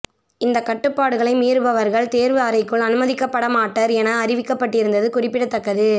இந்த கட்டுப்பாடுகளை மீறுபவர்கள் தேர்வு அறைக்குள் அனுமதிக்க படமாட்டர் என அறிவிக்கப்பட்டிருந்தது குறிப்பிடத்தக்க்து